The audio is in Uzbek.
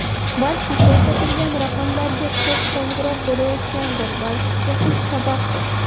Balki ko‘rsatilgan raqamlarga ko‘p qo‘ng‘iroq bo‘layotgandir, balki texnik sababdir.